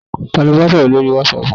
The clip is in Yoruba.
Ta ló ba sọ̀rọ̀ lórii wátísapù?